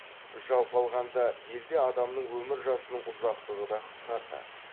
жалпы алғанда елде адамның өмір жасының ұзақтығы да қысқарды